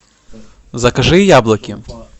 закажи яблоки